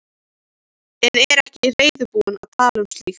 En er ekki reiðubúin að tala um slíkt.